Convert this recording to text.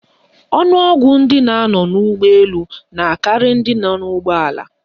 Ọnụọgụgụ ndị na-anọ n'ụgbọelu na akarị ndị nọ n'ụgbọala